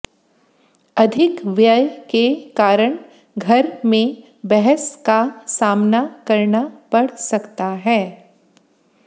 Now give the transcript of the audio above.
अधिक व्यय के कारण घर में बहस का सामना करना पड़ सकता है